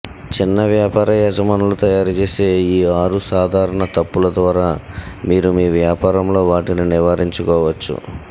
చిన్న వ్యాపార యజమానులు తయారుచేసే ఈ ఆరు సాధారణ తప్పుల ద్వారా మీరు మీ వ్యాపారంలో వాటిని నివారించుకోవచ్చు